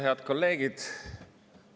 Head kolleegid!